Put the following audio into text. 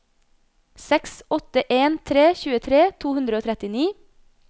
seks åtte en tre tjuetre to hundre og trettini